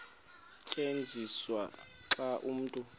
tyenziswa xa umntu